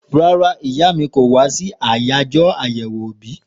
Rárá ìyá mi kò wá sí àyájọ́ àyèwò òbí